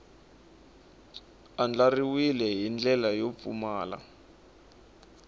andlariwile hi ndlela yo pfumala